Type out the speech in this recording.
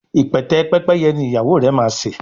ipẹtẹ Pẹ́pẹ́yẹ ní ìyàwó rẹ má ṣe.